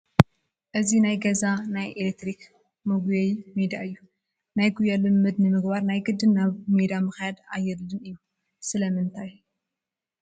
እዚ ናይ ገዛ ናይ ኤለክትሪክ መጒየዪ ሜዳ እዩ፡፡ ናይ ጉያ ልምምድ ንምግባር ናይ ግድን ናብ ሜዳ ምኽያድ ኣየድልን እዩ፡፡ ስለምንታይ?